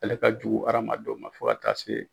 Ale ka jugu adamadenw ma fo ka taa se